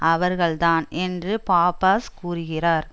அவர்கள்தான் என்று பாப்பாஸ் கூறுகிறார்